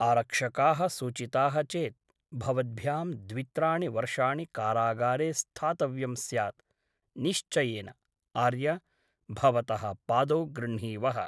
आरक्षकाः सूचिताः चेत् भवद्भ्यां द्वित्राणि वर्षाणि कारागारे स्थातव्यं स्यात् निश्चयेन आर्य , भवतः पादौ गृह्णीवः ।